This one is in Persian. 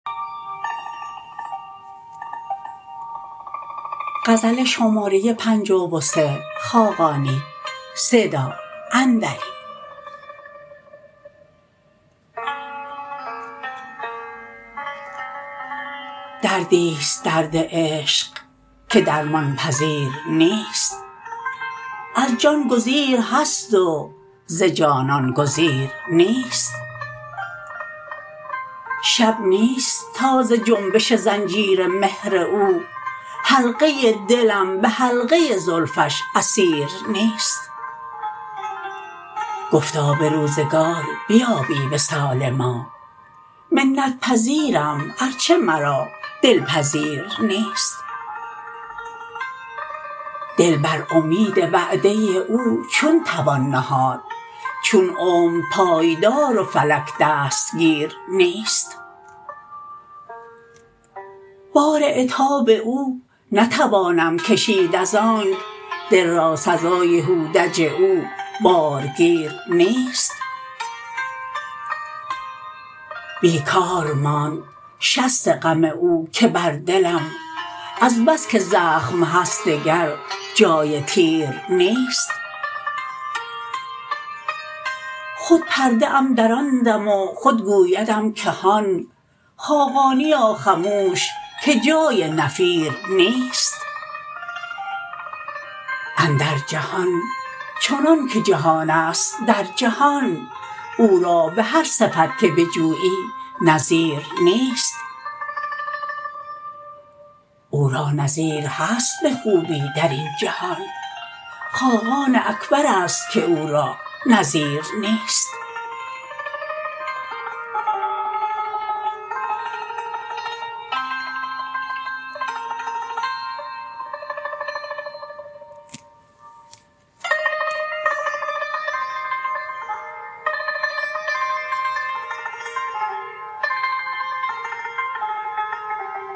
دردی است درد عشق که درمان پذیر نیست از جان گزیر هست و ز جانان گزیر نیست شب نیست تا ز جنبش زنجیر مهر او حلقه ی دلم به حلقه زلفش اسیر نیست گفتا به روزگار بیابی وصال ما منت پذیرم ارچه مرا دل پذیر نیست دل بر امید وعده او چون توان نهاد چون عمر پایدار و فلک دستگیر نیست بار عتاب او نتوانم کشید از آنک دل را سزای هودج او بارگیر نیست بیکار ماند شست غم او که بر دلم از بس که زخم هست دگر جای تیر نیست خود پرده ام دراندم و خود گویدم که هان خاقانیا خموش که جای نفیر نیست اندر جهان چنان که جهان است در جهان او را به هر صفت که بجویی نظیر نیست او را نظیر هست به خوبی در این جهان خاقان اکبر است که او را نظیر نیست